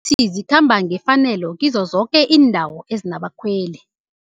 zikhamba ngefanelo kizo zoke iindawo ezinabakhweli.